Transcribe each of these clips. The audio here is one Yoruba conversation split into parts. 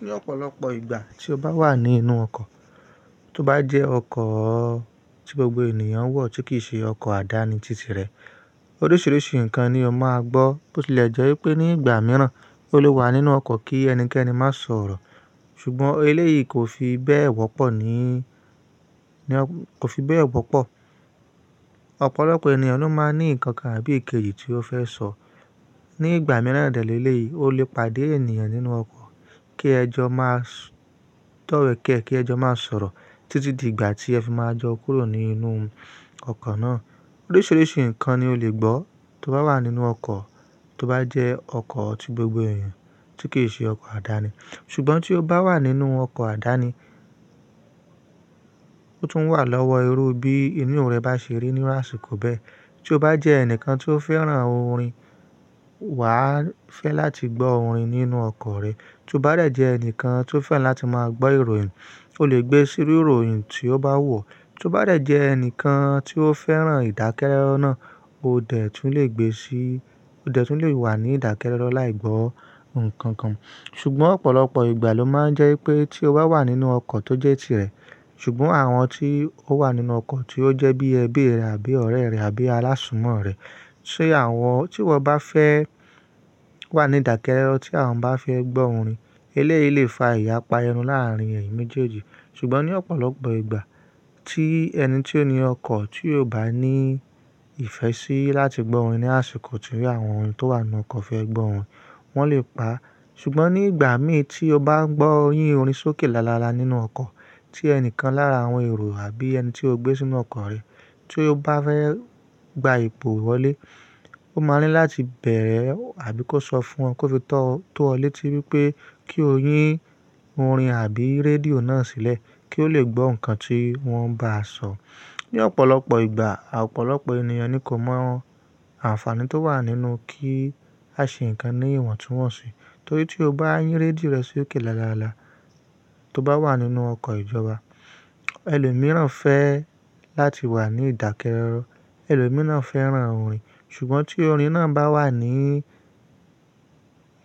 Ní ọ̀pọ̀lọpọ̀ ìgbà tí o bá wà nínú ọkọ̀, tó bá jẹ́ ọkọ̀ tí gbogbo ènìyàn wọ̀ tí kì í ṣe ọkọ̀ àdáni tìti rẹ̀ oríṣìíríṣìí nǹkan ni o máa gbọ́ tó ti lè jẹ́ wípé ní ìgbà mìíràn ó lé wà nínú ọkọ̀ kí ẹnikẹ́ni má sọ̀rọ̀ ṣùgbọ́n eléyìí kò fi bẹ́ẹ̀ wọ́pọ̀ ní, kò fi bẹ́ẹ̀ wọ́pọ̀. Ọ̀pọ̀lọpọ̀ ènìyàn ló máa ní nǹkan tàbí èkejì tí ó fẹ́ sọ. Ní ìgbà mìíràn lélèèyí ó lè pàdé ènìyàn nínú ọkọ̀ kí ẹjọ́ má sọ̀, dowe kẹ́ kí ẹjọ́ má sọ̀rọ̀ títí di ìgbà tí ẹ fi máa jọ kúrò nínú ọkọ̀ náà. Oríṣìíríṣìí nǹkan ni o lè gbọ́ tó bá wà nínú ọkọ̀ tó bá jẹ́ ọkọ̀ tí gbogbo ènìyàn tí kì í ṣe ọkọ̀ àdáni. Ṣùgbọ́n tí o bá wà nínú ọkọ̀ àdáni ó tún wà lọ́wọ́ irú bí inú rẹ bá ṣe rí ní àsìkò bẹ́ẹ̀. Tí o bá jẹ́ ẹnìkan tí ó fẹ́ràn orin wà á fẹ́ láti gbọ́ orin nínú ọkọ̀ rẹ. Tí o bá rẹ̀ jẹ́ ẹnìkan tí ó fẹ́ràn láti máa gbọ́ ìròyìn o lè gbé sírú ìròyìn tí ó bá wun O Tí o bá de jẹ́ ẹnìkan tí ó fẹ́ràn ìdákẹ́rọ́rọ́ o dẹ̀ tún le gbe sí, o dẹ̀ tún le wà ní ìdákẹ́rọ́rọ́ láì gbọ́ nǹkan kan. Ṣùgbọ́n ọ̀pọ̀lọpọ̀ ìgbà ló máa ń jẹ́ wípé tí o bá wà nínú ọkọ̀ tó jẹ́ tirẹ̀ ṣùgbọ́n àwọn tí ó wà nínú ọkọ̀ tí ó jẹ́ bí ẹbí rẹ àbí ọ̀rẹ́ rẹ àbí alásùnmọ̀ rẹ, ṣe àwọn tí wọn bá fẹ́ wà ní ìdákẹ́rọ́rọ́ tí àwọn bá fẹ́ gbọ́ orin eléyìí lè fa ìyapa ẹnu láàrín ẹ́yin méjèèjì ṣùgbọ́n ní ọ̀pọ̀lọpọ̀ ìgbà tí ẹni tí ó ni ọkọ̀ tí ò bá ní ìfẹ́ sí láti gbọ́ orin ní àsìkò tí àwọn tó wà nínú ọkọ̀ fẹ́ gbọ́ orin wọn lè pa á. Ṣùgbọ́n nígbà mi tí o bá ń gbọ́ yín orin sókè lálálá nínú ọkọ̀ tí ẹnìkan lára àwọn èrò àbí ẹni tí o gbé sínú ọkọ̀ rẹ tí ó bá fẹ́ gba ipe wọlé ó máa ní láti bẹ̀ẹ̀ àbí kó sọ fún O kó fi to tó ọ létí wípé kí o yín orin àbí rédíò náà sílẹ̀ kí ó lè gbọ́ nǹkan tí wọ́n bá sọ̀. Ní ọ̀pọ̀lọpọ̀ ìgbà, ọ̀pọ̀lọpọ̀ ènìyàn ni kò mọ àǹfààní tó wà nínú kí a ṣe nǹkan ní ìwọ̀ntúnwọ̀nsì torí tí o bá yín rédíò rẹ sókè lálálá tó bá wà nínú ọkọ̀ ìjọba ẹlòmíràn fẹ́ láti wà ní ìdákẹ́rọ́rọ́, ẹlòmíràn fẹ́ràn orin ṣùgbọ́n tí orin náà bá wà ní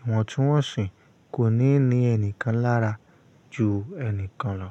ìwọ̀ntúnwọ̀nsì kò ní ni ẹnìkan lára ju ẹnìkan lọ.